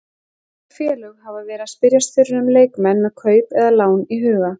Mörg félög hafa verið að spyrjast fyrir um leikmenn með kaup eða lán í huga.